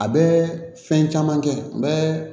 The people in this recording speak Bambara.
A bɛ fɛn caman kɛ n bɛ